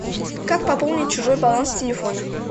как пополнить чужой баланс телефона